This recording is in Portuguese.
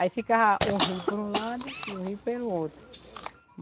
Aí ficava o rio por um lado e o rio pelo outro.